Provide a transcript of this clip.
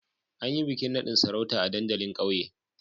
An yi bikin nadin sarauta a dandalin kauye